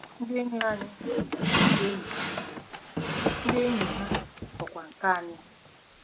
Ndị enyi anyị bụ ndị enyi ha, ndị enyi ha bụkwa nke anyị.